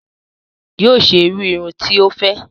Yoo ṣe irú irun tí o fẹ